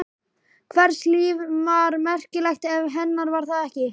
Hvers líf var merkilegt ef hennar var það ekki?